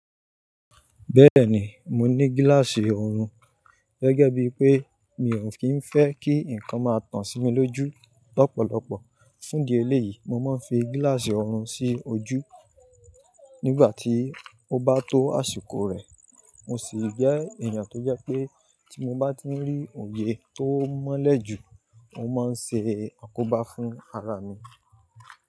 Bẹ́ẹ̀ni, mo ní gíláàsì oorun. Gẹ́gẹ́ bí pé mi ò kí ń fẹ́ kí nǹkan máa tàn sí mi lójú lọ́pọ̀lọpọ̀. Fún di elé yìí, mo máa ń fi gíláàsì oorun sí ojú nígbà tí ó bá tó àsìkò rẹ̀. Mo sì jẹ́ èèyàn tó jẹ́ pé tí mo bá ti rí òye tó mọ́lẹ̀ jù, mo máa ń ṣe àkóbá fún ara mi.